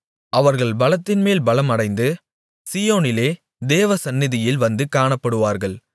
அவர்கள் பலத்தின்மேல் பலம் அடைந்து சீயோனிலே தேவசந்நிதியில் வந்து காணப்படுவார்கள்